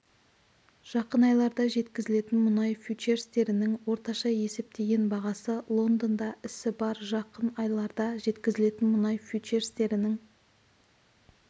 жақын айларда жеткізілетін мұнай фьючерстерінің орташа есептеген бағасы лондонда ісі бар жақын айларда жеткізілетін мұнай фьючерстерінің